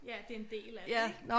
Ja det en del af det ik